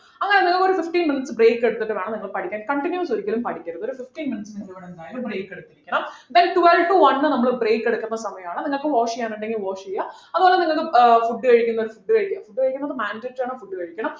അങ്ങനെ നിങ്ങളൊരു fifteen minutes break എടുത്തിട്ടു വേണം നിങ്ങള് പഠിക്കാൻ continues ഒരിക്കലും പഠിക്കരുത് ഒരു fifteen minutes നിങ്ങൾ ഇവിടെ എന്തായാലും break എടുത്തിരിക്കണം then twelve to one നമ്മള് break എടുക്കുന്ന സമയാണ് നിങ്ങൾക്ക് wash ചെയ്യാൻ ഉണ്ടെങ്കിൽ wash ചെയ്യാ അതുപോലെ നിങ്ങക്ക് ആഹ് food കഴിക്കുന്നവർ food കഴിക്ക food കഴിക്കുന്നത് mandatory ആണ് food കഴിക്കണം